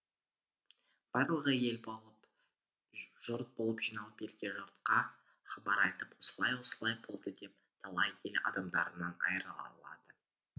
барлығы ел болып жұрт болып жиналып елге жұртқа хабар айтып осылай осылай болды деп талай ел адамдарынан айырылады